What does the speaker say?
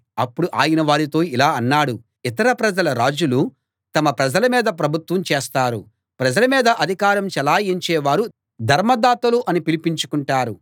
అప్పుడు ఆయన వారితో ఇలా అన్నాడు ఇతర ప్రజల రాజులు తమ ప్రజల మీద ప్రభుత్వం చేస్తారు ప్రజల మీద అధికారం చెలాయించే వారు ధర్మదాతలు అని పిలిపించుకుంటారు